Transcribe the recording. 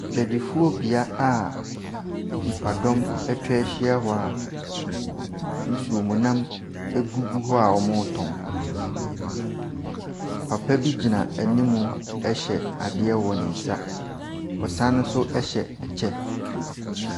Adwadifobea a nipadɔm atwa ahyia hɔ a nsuom nam gugu hɔ a wɔretɔn. Papa bi gyina anim hyɛ adeɛ wɔ ne nsa. Ɔsane nso hyɛ ɛkyɛ.